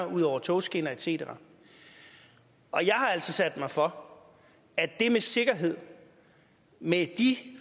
ud over togskinner et cetera og jeg har altså sat mig for at det med sikkerhed med de